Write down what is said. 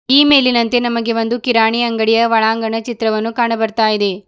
ಈ ಮೇಲಿನಂತೆ ನಮಗೆ ಒಂದು ಕಿರಾಣಿ ಅಂಗಡಿಯ ಒಳಾಂಗಣ ಚಿತ್ರಣವನ್ನು ಕಾಣು ಬರ್ತಾ ಇದೆ.